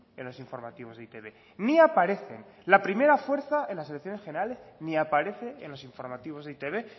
en los informativos de e i te be ni aparecen la primera fuerza en las elecciones generales ni aparece en los informativos de e i te be